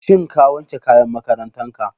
Shin ka wanke kayan makarantar ka?